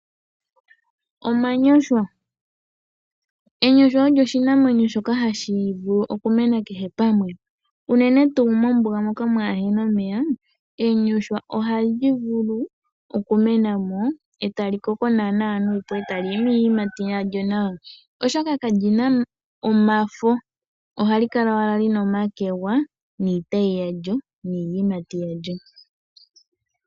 Omanyonshwa olyo oshimeno shoka hashi vulu okumena kehe pamwe unene ngaa mombuga moka kaamuna omeya. Enyoshwa ohali vulu okumena mo etali koko naana nuupu etali imi iiyimati yalyo nawa, oshoka kalina omafo ohali kala owala lina omakwega, niitayi niiyimati yalyo.